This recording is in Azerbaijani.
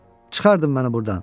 Çıxardın məni burdan.